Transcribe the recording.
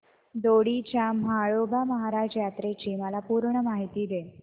दोडी च्या म्हाळोबा महाराज यात्रेची मला पूर्ण माहिती दे